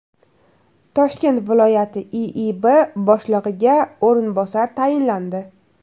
Toshkent viloyati IIB boshlig‘iga o‘rinbosarlar tayinlandi.